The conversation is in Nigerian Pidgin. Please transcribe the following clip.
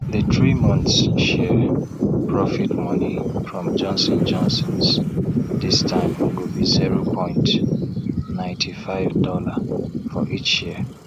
di three months share profit money from johnson johnsons this time go be zero point nighty five dollar for each share